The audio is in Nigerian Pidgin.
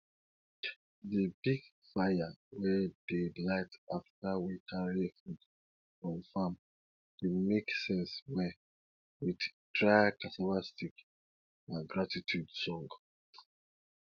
di big fire we dey light afta we carry food from farm dey make sense well with dry cassava stick and gratitude song